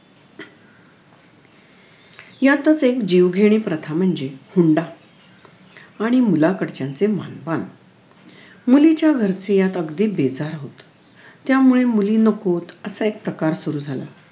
यातच एक जीवघेणी प्रथा म्हणजे हुंडा आणि मुलाकडच्यांचे मानपान मुलीच्या घरचे यात अगदी बेजार होतात त्यामुळे मुली नकोत असा एक प्रकार सुरु झाला